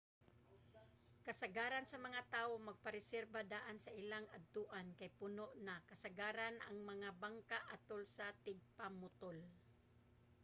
kasagaran sa mga tawo magpa-reserba daan sa ilang adtuan kay puno na kasagaran ang mga bangka atol sa tingpamutol